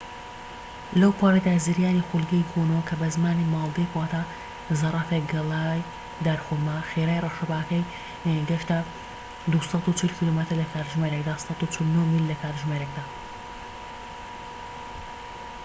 لەوپەڕیدا، زریانی خولگەیی گۆنو، کە بە زمانی مالدیڤ واتە زەرفێك گەڵای دارخورما، خێرایی ڕەشەباکەی گەشتە ٢٤٠ کیلۆمەتر لە کاتژمێرێکدا ١٤٩ میل لە کاتژمێرێكدا